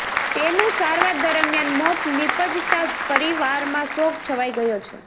તેનુ સારવાર દરમિયાન મોત નિપજતા પરીવારમાં શોક છવાઈ ગયો છે